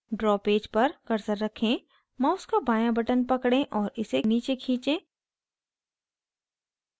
draw page पर cursor रखें mouse का बाँया button पकड़ें और इसे नीचे खींचे